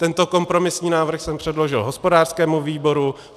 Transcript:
Tento kompromisní návrh jsem předložil hospodářskému výboru.